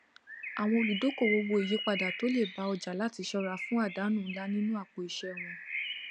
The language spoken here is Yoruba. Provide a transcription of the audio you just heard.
àwọn olùdókòwò wo ìyípadà tó lè bá ọjà láti ṣọra fún àdánù ńlá nínú àpò iṣẹ wọn